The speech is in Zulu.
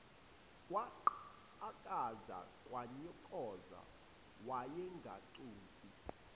kwaqhakaza kwanyoka wayengaconsi